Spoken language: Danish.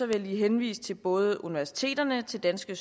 jeg lige henvise både til universiteterne til danske